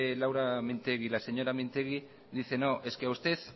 laura mintegi la señora mintegi dice no es que a usted